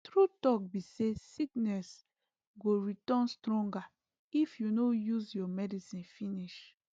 true talk be say sickness go return stonger if you no use your medicine finish